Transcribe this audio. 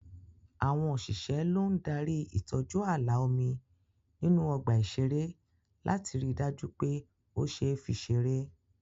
Àwọn òṣìṣẹ́ ló ń darí ìtọ́jú ààlà omi nínú ọgbà ìṣeré láti rí dájú pé o ṣeé fi serey